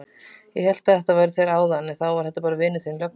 Ég hélt að þetta væru þeir áðan en þá var þetta vinur þinn löggan.